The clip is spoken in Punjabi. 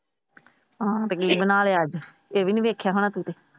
ਤੇ ਕੀ ਬਣਾਇਆ ਅੱਜ ਇਹ ਵੀ ਦੇਖਿਆ ਹੋਣਾ ਤੂੰ ਤਾਂ।